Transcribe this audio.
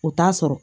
U t'a sɔrɔ